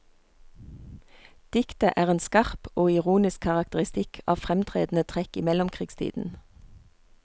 Diktet er en skarp og ironisk karakteristikk av fremtredende trekk i mellomkrigstiden.